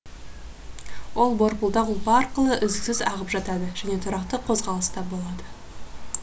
ол борпылдақ ұлпа арқылы үздіксіз ағып жатады және тұрақты қозғалыста болады